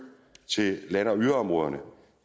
til land og yderområderne